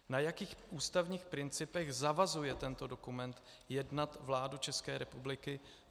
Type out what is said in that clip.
Na jakých ústavních principech zavazuje tento dokument jednat vládu České republiky?